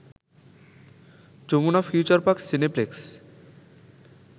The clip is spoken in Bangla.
Jamuna future park cineplex